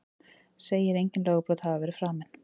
Segir engin lögbrot hafa verið framin